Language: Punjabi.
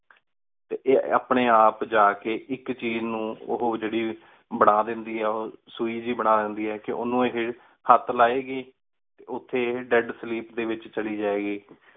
ਟੀ ਆਯ ਅਪਨ੍ਯਨ ਆਪ ਜਾ ਕੀ ਏਕ ਚੀਜ਼ ਨੂ ਉਹੁ ਜੀਰੀ ਬਣਾ ਦੰਦੀ ਆਯ ਸੁਈ ਜਾਹਿ ਬਣਾ ਦੰਦੀ ਆਯ ਉਨੂ ਆਯ ਹੇਠ ਲੇ ਗੀ ਉਠੀ ਆਯ death sleep ਡੀ ਵੇਚ ਚਲੀ ਜੇ ਗੀ